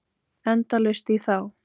Endalaust í þá.